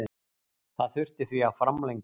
Það þurfti því að framlengja.